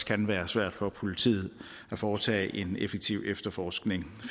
kan være svært for politiet at foretage en effektiv efterforskning